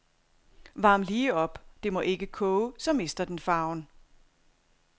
Varm lige op, det må ikke koge, så mister den farven.